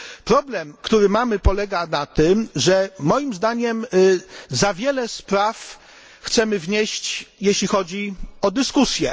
Problem, który mamy polega na tym, ze moim zdaniem za wiele spraw chcemy wnieść jeśli chodzi o dyskusje.